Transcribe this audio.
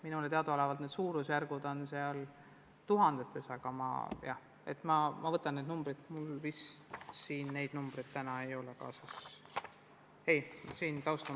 Minule teadaolevalt on need suurusjärgud tuhandetes, aga ma hangin need numbrid, mul täna neid kaasas ei ole.